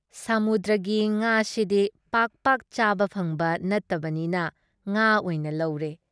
ꯁꯥꯃꯨꯗ꯭ꯔꯒꯤ ꯉꯥꯁꯤꯗꯤ ꯄꯥꯛ ꯄꯥꯛ ꯆꯥꯕ ꯐꯪꯕ ꯅꯠꯇꯕꯅꯤꯅ ꯉꯥ ꯑꯣꯏꯅ ꯂꯧꯔꯦ ꯫